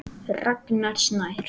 Ragnar Snær.